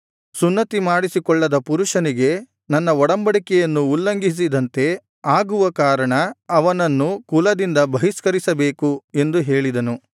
ಸುನ್ನತಿಮಾಡಿಸಿಕೊಳ್ಳದ ಪುರುಷನಿಗೆ ನನ್ನ ಒಡಂಬಡಿಕೆಯನ್ನು ಉಲ್ಲಂಘಿಸಿದಂತೆ ಆಗುವ ಕಾರಣ ಅವನನ್ನು ಕುಲದಿಂದ ಬಹಿಷ್ಕರಿಸಬೇಕು ಎಂದು ಹೇಳಿದನು